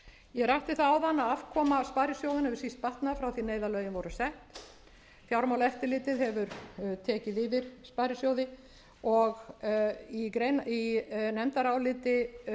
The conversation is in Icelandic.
ég rakti það áðan að afkoma sparisjóðanna hefur síst batnað frá því að neyðarlögin voru sett fjármálaeftirlitið hefur tekið yfir sparisjóði og í nefndaráliti meiri hlutans kemur